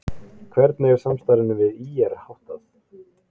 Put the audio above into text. Hvernig er samstarfinu við ÍR háttað?